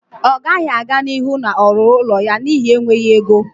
Ọ gaghị aga n'ihu na-ọrụrụ ụlọ ya n'ihi enweghị ego